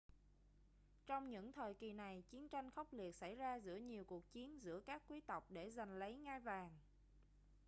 trong những thời kỳ này chiến tranh khốc liệt xảy ra giữa nhiều cuộc chiến giữa các quý tộc để giành lấy ngai vàng